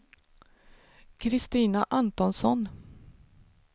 Christina Antonsson